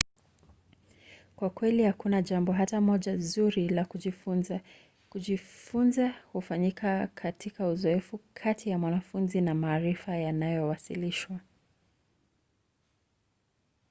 kwa kweli hakuna jambo hata moja zuri la kujifunza. kujifunza hufanyika katika uzoefu kati ya mwanafunzi na maarifa yanayowasilishwa